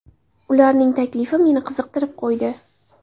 Ularning taklifi meni qiziqtirib qo‘ydi.